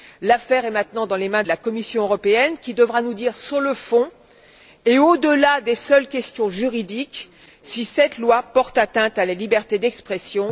L'affaire est maintenant dans les mains de la Commission européenne, qui devra nous dire sur le fond, et au delà des seules questions juridiques, si cette loi porte atteinte à la liberté d'expression.